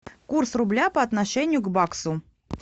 курс рубля по отношению к баксу